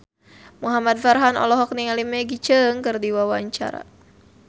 Muhamad Farhan olohok ningali Maggie Cheung keur diwawancara